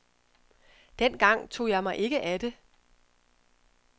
Den gang tog jeg mig ikke af det.